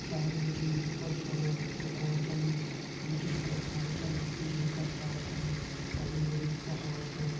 सामने मा जी कई सारा मकान छन बिजली का खम्बा छन बिजली का तार छन हरयूं भरयूं पहाड़ छ।